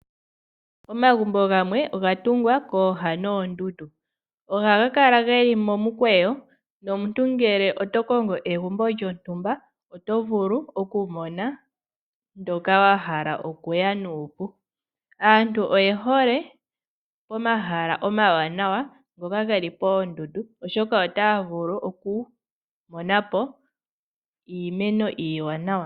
Omagumbo gamwe oga tungwa kooha noondundu. Ohaga kala ge li momukweyo nomuntu ngele oto kongo egumbo lyontumba oto vulu okumona ndyoka wa hala okuya nuupu. Aantu oye hole pomahala omawanawa ngoka ge li poondundu, oshoka otaya vulu okumona po iimeno iiwanawa.